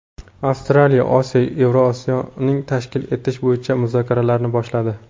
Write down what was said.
Avstraliya Osiyo Eurovision’ini tashkil etish bo‘yicha muzokaralarni boshladi .